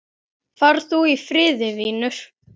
Far þú í friði, vinur.